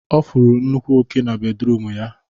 Ọ fụrụ nnukwu oke na bedruum ya